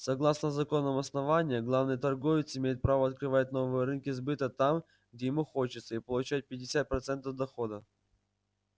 согласно законам основания главный торговец имеет право открывать новые рынки сбыта там где ему хочется и получать пятьдесят процентов дохода